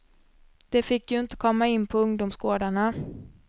De fick ju inte komma in på ungdomsgårdarna.